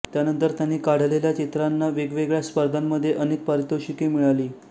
त्यानंतर त्यांनी काढलेल्या चित्रांना वेगवेगळ्या स्पर्धांमध्ये अनेक पारितोषिके मिळाली